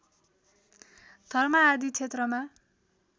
धर्म आदि क्षेत्रमा